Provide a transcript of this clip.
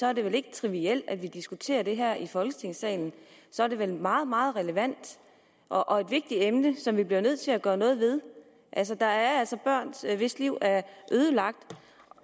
er det vel ikke trivielt at vi diskuterer det her i folketingssalen så er det vel meget meget relevant og et vigtigt emne som vi bliver nødt til at gøre noget ved der er altså børn hvis liv er ødelagt